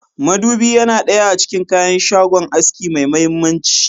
Madubi Yana daya a cikin kayakin shagon aski mai mahimmanci.